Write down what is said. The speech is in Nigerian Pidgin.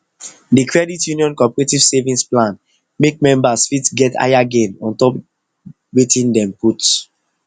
d credit union cooperative savings plan make members fit get higher gain on top their wetin dem put